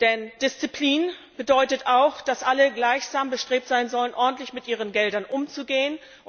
Denn Disziplin bedeutet auch, dass alle gleich bestrebt sein sollen, ordentlich mit ihren Geldern umzugehen.